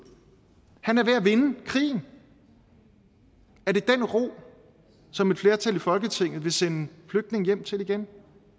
er ved at vinde krigen er det den ro som et flertal i folketinget vil sende flygtninge hjem til igen